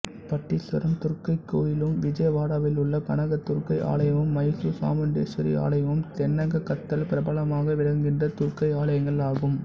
பட்டீஸ்வரம் துர்க்கை கோயிலும் விஜயவாடாவிலுள்ள கனகதுர்க்கை ஆலயமும் மைசூர் சாமுண்டேஸ்வரி ஆலயமும் தென்னகத்ததல் பிரபலமாக விளங்குகின்ற துர்க்கை ஆலயங்கள் ஆகும்